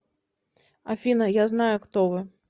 афина я знаю кто вы